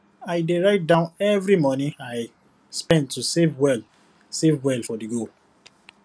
i dey write down every money i spend to save well save well for the goal